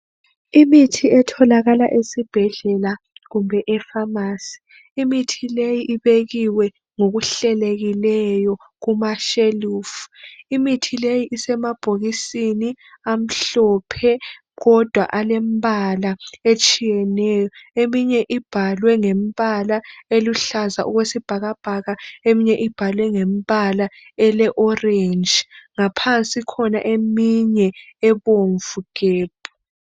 Imithi etholakala esibhedlela kumbe epharmacy. Imithi leyi ibekiwe ngokuhlelekileyo kumashelufu. Imithi leyi isemabhokisini amhlophe kodwa alembala etshiyeneyo. Eminye ibhalwe ngembala eluhlaza okwesibhakabhaka eminye ibhalwe ngembala ele orange. Ngaphansi ikhona eminye ebomvu gebhu.